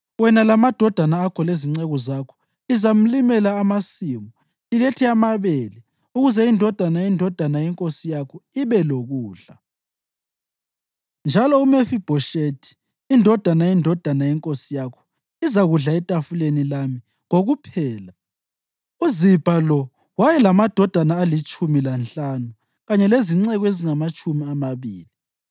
Wena lamadodana akho lezinceku zakho lizamlimela amasimu lilethe amabele ukuze indodana yendodana yenkosi yakho ibe lokudla. Njalo uMefibhoshethi indodana yendodana yenkosi yakho, izakudla etafuleni lami kokuphela.” (UZibha lo wayelamadodana alitshumi lanhlanu kanye lezinceku ezingamatshumi amabili.)